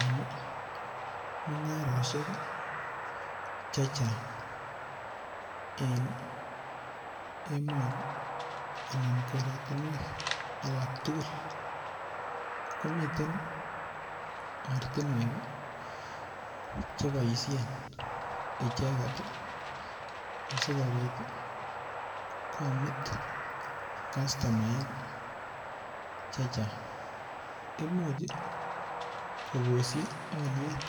En mungaroshek chechang en emoni anan korotinwek alaktugul komiten ortinwek cheboishen icheket asikobit komut kastumaek chechang imuch koboshi oliet